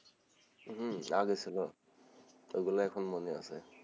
হম আগে ছিলো ওগুলা এখন মনে আছে,